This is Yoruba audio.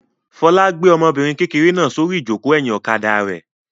Fọlá gbé ọmọbìnrin kékeré náà sórí ìjókòó ẹ̀yìn ọ̀kadà rẹ̀.